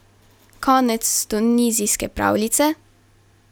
Konec tunizijske pravljice?